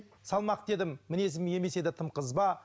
салмақты едім мінезім емес еді тым қызба